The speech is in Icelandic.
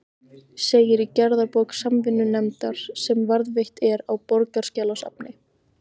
segir í gerðabók Samvinnunefndar, sem varðveitt er á Borgarskjalasafni.